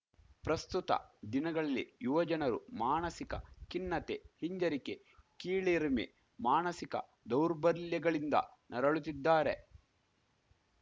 ಪ್ರಸ್ತುತ ದಿನಗಳಲ್ಲಿ ಯುವಜನರು ಮಾಣಸಿಕ ಖಿನ್ನತೆ ಹಿಂಜರಿಕೆ ಕೀಳಿರಿಮೆ ಮಾಣಸಿಕ ದೌರ್ಬಲ್ಯಗಳಿಂದ ನರಳುತ್ತಿದ್ದಾರೆ